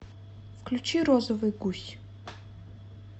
включи розовый гусь